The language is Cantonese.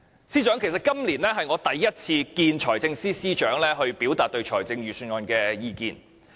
司長，其實今年是我首次與財政司司長會面表達對預算案的意見。